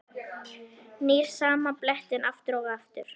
Nýr sama blettinn aftur og aftur.